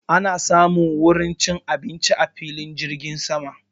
Ana samun wurin cin abinci a filin jirgin sama